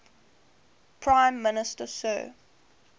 prime minister sir